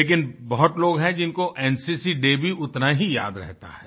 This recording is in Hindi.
लेकिन बहुत लोग हैं जिनको एनसीसी डे भी उतना ही याद रहता है